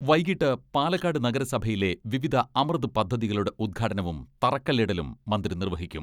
വൈകിട്ട് പാലക്കാട് നഗരസഭയിലെ വിവിധ അമൃത് പദ്ധതികളുടെ ഉദ്ഘാടനവും തറക്കല്ലിടലും മന്ത്രി നിർവഹിക്കും.